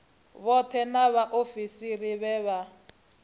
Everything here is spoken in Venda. vhoṱhe na vhaofisiri vhe vha